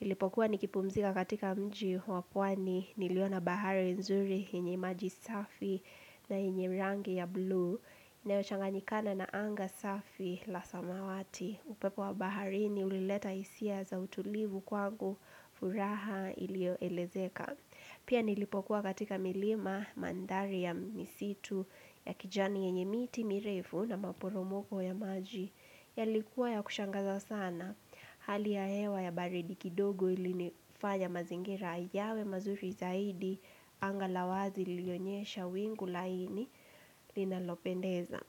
Nilipokuwa nikipumzika katika mji wa pwani niliona bahari nzuri yenye maji safi na yenye rangi ya buluu inayo changanikana na anga safi la samawati. Upepo wa baharini ulileta hisia za utulivu kwangu furaha ilio elezeka. Pia nilipokuwa katika milima mandhari ya misitu ya kijani yenye miti mirefu na maporomoko ya maji yalikuwa ya kushangaza sana. Hali ya hewa ya baridi kidogo ilinifanya mazingira yawe mazuri zaidi anga la wazi lilionyesha wingu laini linalopendeza.